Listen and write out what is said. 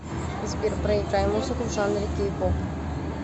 сбер проиграй музыку в жанре кей поп